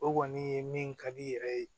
O kɔni ye min ka di yɛrɛ ye